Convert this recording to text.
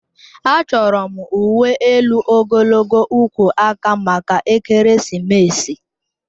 Achọrọ m uwe elu ogologo ugwu aka maka ekeresimesi